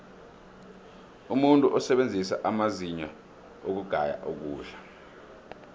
umuntu usebenzisa amazinyo ukugaya ukudla